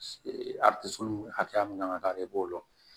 hakɛya min kan ka k'ale b'o lɔ